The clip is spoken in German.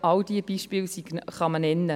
All diese Beispiele kann man nennen.